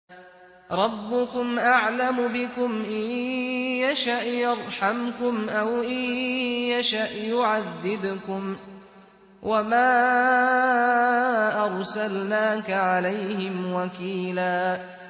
رَّبُّكُمْ أَعْلَمُ بِكُمْ ۖ إِن يَشَأْ يَرْحَمْكُمْ أَوْ إِن يَشَأْ يُعَذِّبْكُمْ ۚ وَمَا أَرْسَلْنَاكَ عَلَيْهِمْ وَكِيلًا